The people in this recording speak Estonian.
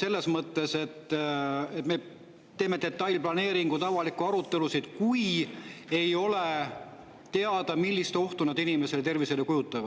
selles mõttes, et me teeme detailplaneeringuid ja avalikke arutelusid, ei ole teada, millist ohtu need inimese tervisele kujutavad.